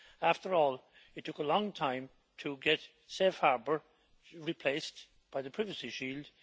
After all, it took a long time to get Safe Harbour replaced by the Privacy Shield.